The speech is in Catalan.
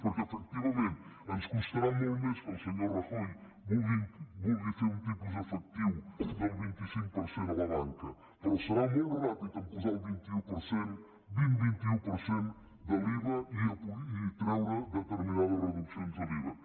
perquè efectivament ens constarà molt més que el senyor rajoy vulgui fer un tipus efectiu del vint cinc per cent a la banca però serà molt ràpid a posar el vint un per cent vint vint un per cent de l’iva i treure determinades reduccions de l’iva